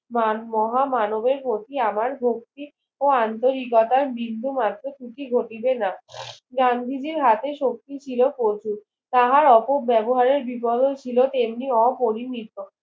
মান মহা মানবের প্রতি আমার ভক্তি ও আন্তরিকতার বিন্দু মাত্র ত্রুটি ঘটিবে না গান্ধীজির হাতে শক্তি ছিল প্রচুর তাহার অপব্যবহারের বিগত ছিল তেমনি অপরিহিত